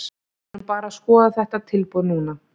Við erum bara að skoða þetta tilboð núna.